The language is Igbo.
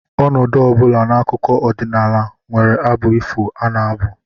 Ọnọdụ ọ bụla n'akụkọ ọdịnala nwere abụ ifo a na-abụ